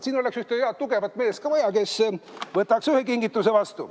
Siin oleks ühte head tugevat meest ka vaja, kes võtaks ühe kingituse vastu.